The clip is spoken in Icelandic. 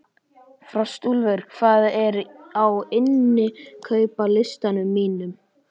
Frostúlfur, hvað er á innkaupalistanum mínum?